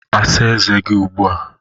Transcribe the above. asa eze gi ugbua